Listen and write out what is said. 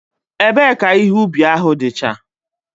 Ebe ka ihe ubi ahu dicha?